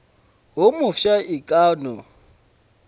wo mofsa e ka no